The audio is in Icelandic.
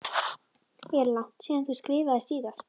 Er langt síðan þú skriftaðir síðast?